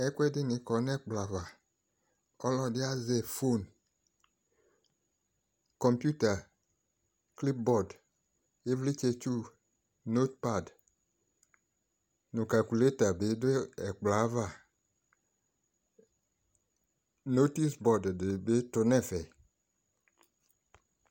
Ɛkuɛde ne kɔ no ɛkplɔ ava, ko ɔlɔde azɛ fon, Konputa, klipbɔd, evletsɛtsuu, notpad no kakuleta be do ɛkplɔ ava Notis bɔd de be to no ɛfɛ